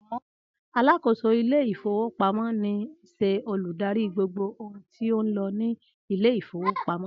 Alákòóso Ilé-ìfowópamó ní ṣe olùdarí gbogbo ohun tí ó ń lọ ní Ilé-ìfowópamó.